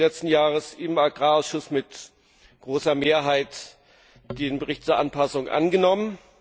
1. Juni letzten Jahres im Agrarausschuss mit großer Mehrheit diesen Bericht zur Anpassung angenommen.